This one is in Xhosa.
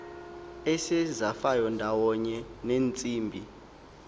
esezafayo ndawonye neentsimbi